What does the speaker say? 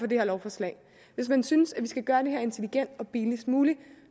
det her lovforslag hvis man synes at vi skal gøre det her intelligent og billigst muligt